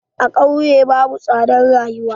A ƙauye babu tsadan rayuwa.